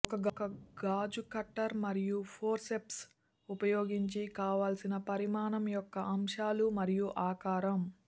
ఒక గాజు కట్టర్ మరియు ఫోర్సెప్స్ ఉపయోగించి కావలసిన పరిమాణం యొక్క అంశాలు మరియు ఆకారం